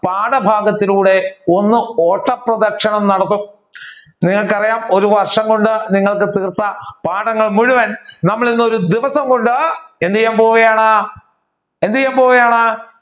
പാഠഭാഗത്തിലൂടെ ഒന്ന് ഓട്ട പ്രതിക്ഷണം നടത്തും നിങ്ങൾക്ക് അറിയാം ഒരു വര്ഷം കൊണ്ട് നിങ്ങൾക്ക് തീർത്ത പാഠങ്ങൾ മുഴുവൻ നമ്മൾ ഇന്ന് ഒരു ദിവസം കൊണ്ട് എന്ത്ചെയ്യാൻ പോവുകയാണ് എന്തുചെയ്യാൻ പോവുകയാണ്